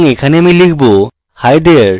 এবং এখানে আমি লিখব hi there!